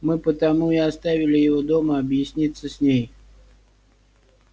мы потому и оставили его дома объясниться с ней